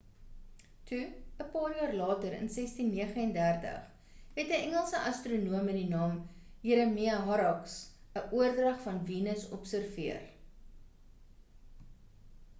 toe 'n paar jaar later in 1639 het 'n engelse astronoom met die naam jeremia horrocks 'n oordrag van venus observeer